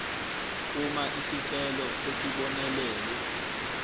uma isicelo sesibonelelwe